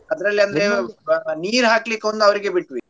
ಅದರಲ್ಲಿ ಅಂದ್ರೆ ನೀರು ಹಾಕ್ಲಿಕೇ ಅವ್ರಿಗೆ ಒಂದು ಬಿಟ್ವಿ.